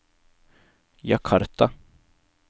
Jakarta